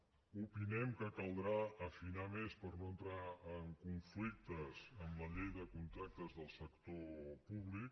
opinem que caldrà afinar més per no entrar en conflictes amb la llei de contractes del sector públic